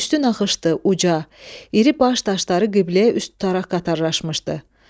Üstü nahışdı, uca, iri baş daşları qibləyə üst tutaraq qatarlaşmışdı.